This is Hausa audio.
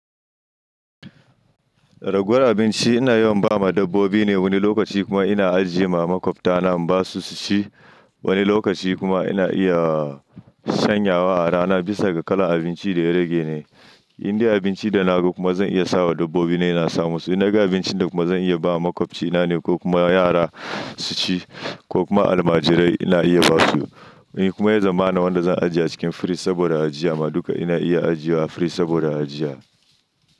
Ragowar abinci ina yawan ba ma dabbobi ne wani lokaci kuma ina ajiye ma makwabta na in ba su su ci, wani lokaci kuma ina iya shanyawa a rana bisa ga kalar abinci da ya rage ne. Indai abinci da naga kuma zan iya sa wa dabbobi na ina sa mu su. In naga abincin da kuma zan iya ba makwabcina ne ko kuma yara su ci ko kuma almajirai ina iya ba su. Kuma ya zamana wanda za a ajiye a cikin firij saboda ajiya. Amma duka ina iya ajiyewa a firij saboda ajiya.